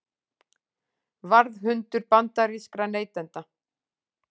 Varðhundur bandarískra neytenda